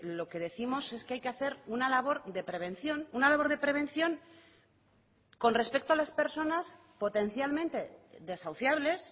lo que décimos es que hay que hacer una labor de prevención una labor de prevención con respecto a las personas potencialmente desahuciables